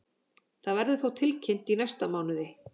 Það verður þó tilkynnt í næsta mánuði.